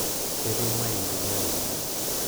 ketii maendeleo enkangang